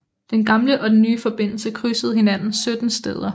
Den gamle og den nye forbindelse krydsede hinanden 17 steder